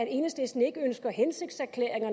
enhedslisten ikke ønsker hensigtserklæringer